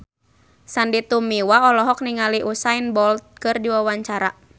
Sandy Tumiwa olohok ningali Usain Bolt keur diwawancara